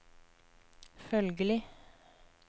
følgelig